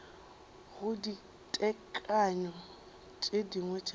go ditekanyo tše dingwe tša